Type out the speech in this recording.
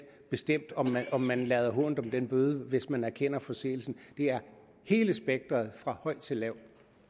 bestemt om man lader hånt om en bøde hvis man erkender forseelsen det er hele spektret fra høj til lav